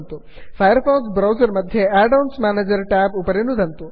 fire fox browser मध्ये add ons manager tab उपरि नुदन्तु